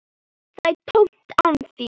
Það er tómt án þín.